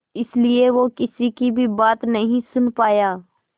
इसलिए वो किसी की भी बात नहीं सुन पाया